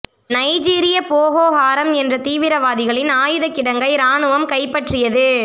நைஜீரிய Boko Haram என்ற தீவிரவாதிகளின் ஆயுத கிடங்கை ராணுவம் கைப்பற்றியது